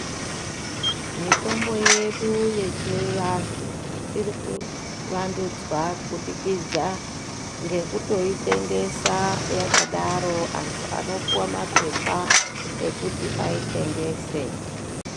Mitombo yedu yechiantu irikuvandudzwa kubudikidza ngekutoitengesa yakadaro. Antu anopuwa mapepa ekuti aitengese.